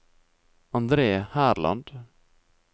Andre Herland